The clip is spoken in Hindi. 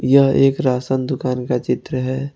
यह एक राशन दुकान का चित्र है।